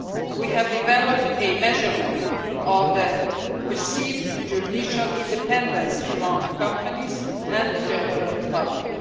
We have developed a measurement of perceived judicial independence among companies and the general public.